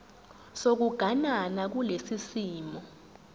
sokuganana kulesi simo